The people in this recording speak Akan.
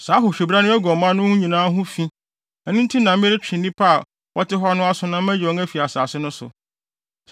Saa ahohwibra no agu ɔman mu no nyinaa ho fi; ɛno nti na meretwe nnipa a wɔte hɔ no aso na mayi wɔn afi asase no so.